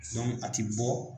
a tɛ bɔ